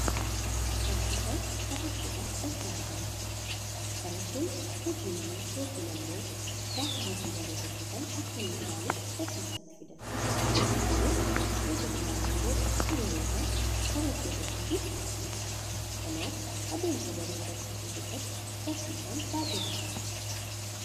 Barsiisaan barattootaa daftara laala jira. Barattoonni hojii manaa yookiin ammo gaafa hojii daree hojjatan akka inni ilaaluuf barsiisatti fidan. Barsiisaanis eega ilaaleen booda sororuudhaan barattoota isaatiif qabxii qaba. Kanaaf adeemsa baruu barsiisuu keessatti barsiisaan baay'ee barbaachisaadha.